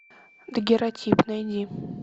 дагерротип найди